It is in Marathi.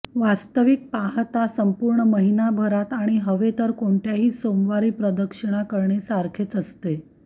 वास्तविक पाहता संपूर्ण महिनाभरात आणि हवे तर कोणत्याही सोमवारी प्रदक्षिणा करणे सारखेच असते